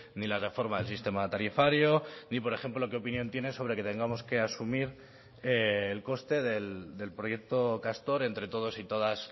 ni la reforma del sistema tarifario ni por ejemplo qué opinión tiene sobre que tengamos que asumir el coste del proyecto castor entre todos y todas